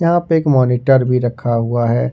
यहां पे एक मॉनिटर भी रखा हुआ है।